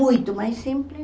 Muito mais simples.